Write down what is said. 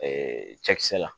cɛkisɛ la